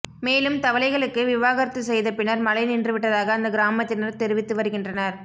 மேலும் தவளைகளுக்கு விவாகரத்து செய்த பின்னர் மழை நின்று விட்டதாக அந்த கிராமத்தினர் தெரிவித்து வருகின்றனர்